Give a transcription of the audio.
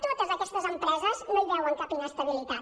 totes aquestes empreses no hi veuen cap inestabilitat